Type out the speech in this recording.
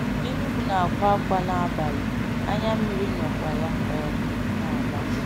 Enugu na-akwa akwa n’abalị, anya mmiri nnọkwa ya um n’agba.